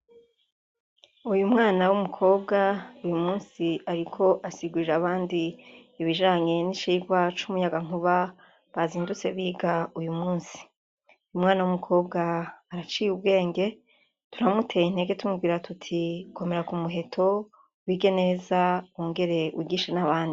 Uyu mwana w'umukobwa uyu munsi ariko asigurira abandi ibijanye n'icigwa c'umuyagankuba, bazindutse biga uyu munsi. Umwana w'umukobwa araciye ubwenge, turamuteye intege tumubwira tuti "Komera ku muheto wige neza wongere wigishe n'abandi".